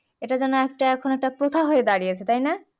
এটা যেন একটা এখন একটা প্রথা হয়ে দাঁড়িয়েছে তাই না